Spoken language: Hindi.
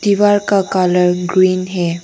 दीवार का कलर ग्रीन है।